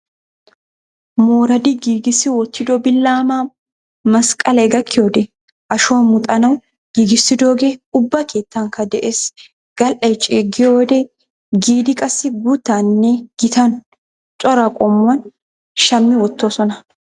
Mooradi giigissi wottido billamaa masqalay gakkiyoodee ashuwaa muxanawu giigissidoogee ubba keettankka de'ees. Gal'ay ceeggiyoodee giidi qassi guuttaaninne gitan cora qommuwan shammi wottoosona.